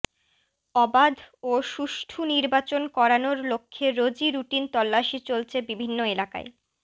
অবাধ ও সুষ্ঠু নির্বাচন করানোর লক্ষ্যে রোজই রুটিন তল্লাশি চলছে বিভিন্ন এলাকায়